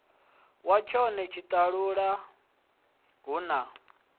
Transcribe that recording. wa tshone tshiṱalula hu na